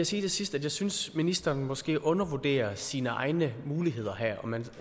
sige til sidst at jeg synes ministeren måske undervurderer sine egne muligheder her man